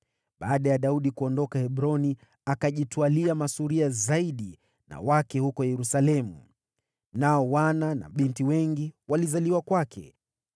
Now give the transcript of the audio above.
Baada ya Daudi kuondoka Hebroni, akajitwalia masuria zaidi na wake huko Yerusalemu, nao wana na binti wengi walizaliwa kwake.